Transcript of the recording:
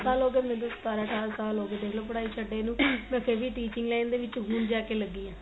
ਸਾਲ ਹੋ ਗਏ ਮੈਨੂੰ ਸਤਾਰਾਂ ਅਠਾਰਾ ਸਾਲ ਹੋ ਗਏ ਮੈਨੂੰ ਪੜਾਈ ਛਡੇ ਨੂੰ ਮੈਂ ਫੇਰ ਵੀ teaching line ਦੇ ਵਿੱਚ ਹੁਣ ਜਾ ਕੇ ਲੱਗੀ ਆ